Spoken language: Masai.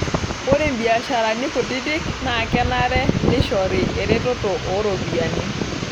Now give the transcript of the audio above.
Ore mbiasharani kutiti naa kenare neishori eretoto ooropiyiani.